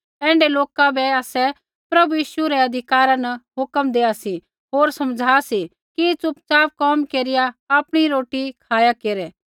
ऐण्ढै लोका बै आसै प्रभु यीशु मसीह रै अधिकारा न हुक्म देआ सी होर समझ़ा सी कि च़ुपच़ाप कोम केरिया आपणी रोटी खाया केरै